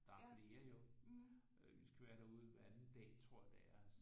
Der er flere jo vi skal være derude hver anden dag tror jeg det er